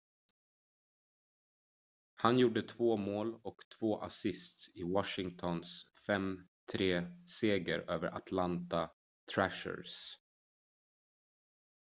han gjorde 2 mål och 2 assists i washingtons 5-3-seger över atlanta thrashers